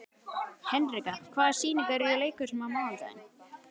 Hinrika, hvaða sýningar eru í leikhúsinu á mánudaginn?